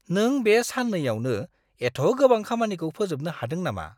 नों बे साननैयावनो एथ' गोबां खामानिखौ फोजोबनो हादों नामा?